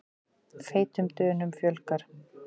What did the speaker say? Feitum Dönum fjölgar